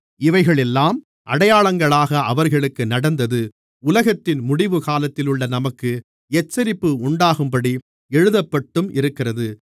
இவைகளெல்லாம் அடையாளங்களாக அவர்களுக்கு நடந்தது உலகத்தின் முடிவு காலத்திலுள்ள நமக்கு எச்சரிப்பு உண்டாக்கும்படி எழுதப்பட்டும் இருக்கிறது